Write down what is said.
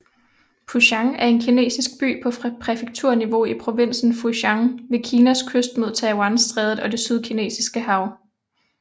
Putian er en kinesisk by på præfekturniveau i provinsen Fujian ved Kinas kyst mod Taiwanstrædet og det Sydkinesiske hav